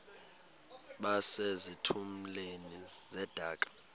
base zitulmeni zedaka